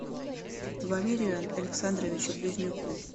валерию александровичу близнюку